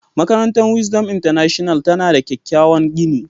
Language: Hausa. Makarantar Wisdom International tana da kyakkyawan gini.